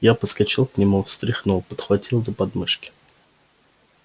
я подскочил к нему встряхнул подхватил за подмышки